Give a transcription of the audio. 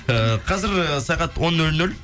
ііі қазір сағат он нөл нөл